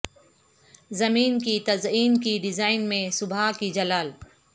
زمین کی تزئین کی ڈیزائن میں صبح کی جلال